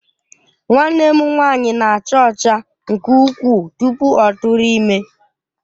Nwanne m nwanyị na-acha ọcha nke ukwuu tupu ọ tụrụ ime